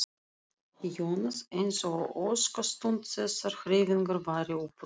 Jónas eins og óskastund þessarar hreyfingar væri upp runnin.